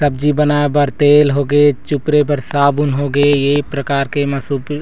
सब्जी बनाए बर तेल हो गे ये एक प्रकार के एमा सूती--